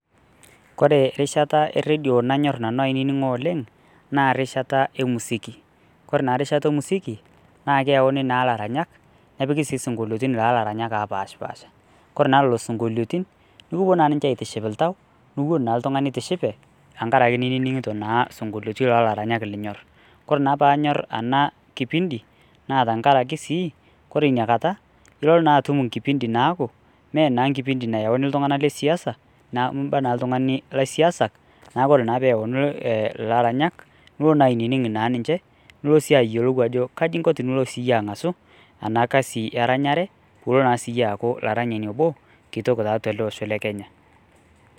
kore rishata erredio nanyorr nanu ainining'o oleng naa rishata emusiki kore naa rishata emusiki naa keyauni naa laranyak nepiki sii sinkoliotin laa laranyak apashipasha kore naa lolo sinkoliotin nukupuo naa ninche aitiship iltau niwuon naa iltung'ani itishipe ankaraki nining'ito naa sunkoliotin lalaranyak linyorr, kore naa paanyorr ana kipindi naa tankarake sii kore inia kata ilo naa atum inkipindi naaku menaa nkipindi nayauni iltung'anak lesiasa naa imba naa ltung'ani laisiasak naku ore naa peyauni ilaranyak nulo naa ainining naa ninche nulo sii ayiolou ajo kaji inko tonulo siiyie ang'asu ena kasi eranyare pulo naa siiyie aaku laranyani obo kitok tatua ele osho le kenya.